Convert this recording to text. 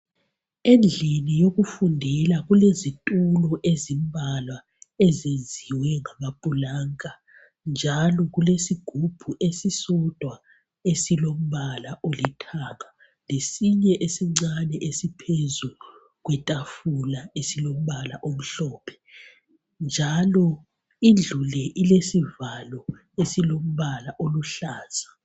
Endlini yokufundela kulezitulo ezimbalwa, ezenziwe ngamapulanka, njalo kulesigubhu esisodwa esilombala olithanga. Lesinye esincane, esiphezu kwetafula, esilombala omhlophe, njalo indlu le, ilesivalo esilombala oluhlaza.